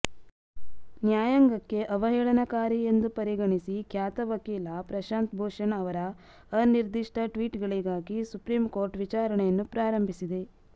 ನ್ಯಾಯಾಂಗಕ್ಕೆ ಅವಹೇಳನಕಾರಿ ಎಂದು ಪರಿಗಣಿಸಿ ಖ್ಯಾತ ವಕೀಲ ಪ್ರಶಾಂತ್ ಭೂಷಣ್ ಅವರ ಅನಿರ್ದಿಷ್ಟ ಟ್ವೀಟ್ಗಳಿಗಾಗಿ ಸುಪ್ರೀಂ ಕೋರ್ಟ್ ವಿಚಾರಣೆಯನ್ನು ಪ್ರಾರಂಭಿಸಿದೆ